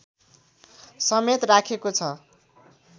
समेत राखेको छ